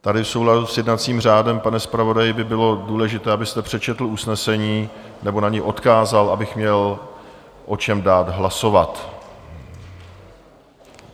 Tady v souladu s jednacím řádem, pane zpravodaji, by bylo důležité, abyste přečetl usnesení, nebo na něj odkázal, abych měl o čem dát hlasovat.